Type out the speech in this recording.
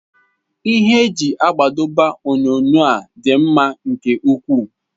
Ihe eji adọba onyonyo a dị mma nke ukwuu.